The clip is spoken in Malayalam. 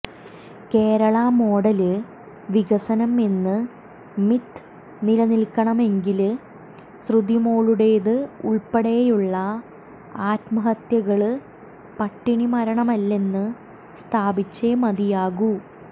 കേരള മോഡല് വികസനം എന്ന് മിത്ത് നിലനില്ക്കണമെങ്കില് ശ്രുതിമോളുടെത് ഉള്പ്പെടെയുള്ള ആത്മഹത്യകള് പട്ടിണി മരണമല്ലെന്ന് സ്ഥാപിച്ചേ മതിയാകൂ